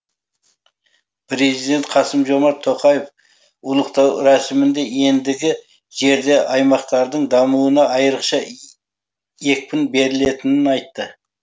президент қасым жомарт тоқаев ұлықтау рәсімінде ендігі жерде аймақтардың дамуына айрықша екпін берілетінін айтты